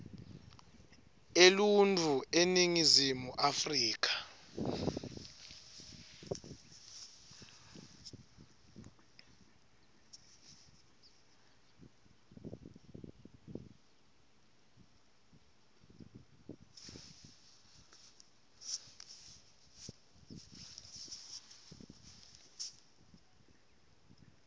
eluntfu eningizimu afrika